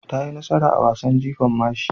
Ta yi nasara a wasan jifan mashi.